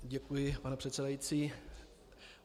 Děkuji, pane předsedající.